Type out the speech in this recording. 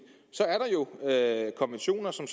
så er der jo konventioner som